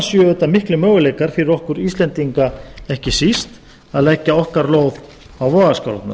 séu auðvitað miklir möguleikar fyrir okkur íslendinga ekki síst að leggja okkar lóð á vogarskálarnar